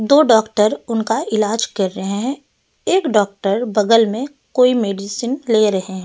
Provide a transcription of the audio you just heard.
दो डॉक्टर उनका इलाज कर रहे हैं एक डॉक्टर बगल में कोई मेडिसिन ले रहे --